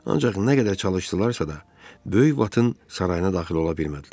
Ancaq nə qədər çalışdılarsa da, böyük vatın sarayına daxil ola bilmədilər.